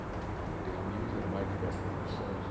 E eu tenho amigos das mais diversas profissões.